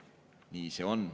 Nii see on.